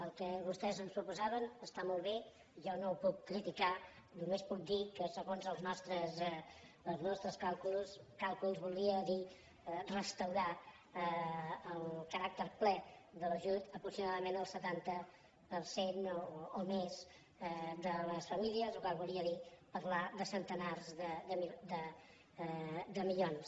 el que vostès ens proposaven està molt bé jo no ho puc criticar només puc dir que segons els nostres càlculs voldria dir restaurar el caràcter ple de l’ajut aproximadament al setanta per cent o més de les famílies la qual cosa voldria dir parlar de centenars de milions